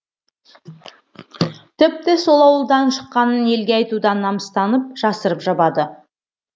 тіпті сол ауылдан шыққанын елге айтудан намыстанып жасырып жабады